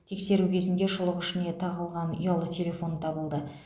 тексеру кезінде шұлық ішіне тығылған ұялы телефон табылды